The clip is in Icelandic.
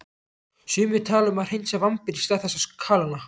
Sumir tala um að hreinsa vambir í stað þess að kalóna.